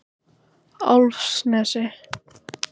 Álfsnesi